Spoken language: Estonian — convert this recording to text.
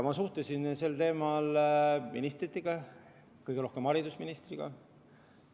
Ma suhtlesin sel teemal ministritega, kõige rohkem haridusministriga.